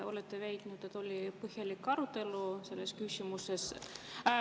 Austatud istungi juhataja!